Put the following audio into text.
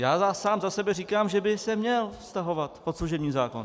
Já sám za sebe říkám, že by se měl vztahovat pod služební zákon.